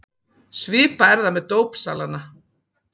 Svipað er það með dópsalana.